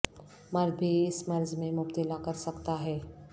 مرد بھی اس مرض میں مبتلا کر سکتا ہے